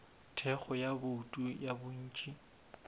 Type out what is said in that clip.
thekgo ya bouto ya bontši